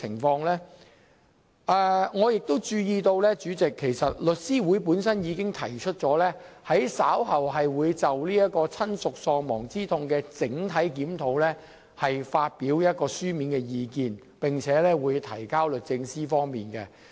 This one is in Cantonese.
主席，我亦注意到，律師會已表示稍後將會就親屬喪亡之痛賠償款額的整體檢討發表書面意見，並提交律政司。